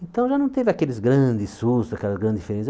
Então já não teve aqueles grandes sustos, aquelas grandes diferenças.